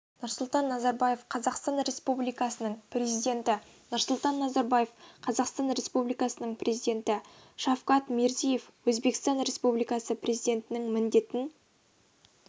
нұрсұлтан назарбаев қазақстан республикасының президенті нұрсұлтан назарбаев қазақстан республикасының президенті шавкат мирзиеев өзбекстан республикасы президентінің міндетін